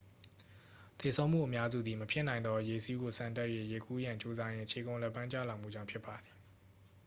သေဆုံးမှုအများစုသည် မဖြစ်နိုင်သော ရေစီးကိုဆန်တက်၍ရေကူးရန်ကြိုးစားရင်း ခြေကုန်လက်ပမ်းကျလာမှုကြောင့် ဖြစ်ပါသည်